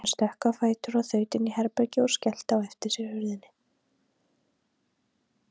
Hann stökk á fætur og þaut inn í herbergi og skellti á eftir sér hurðinni.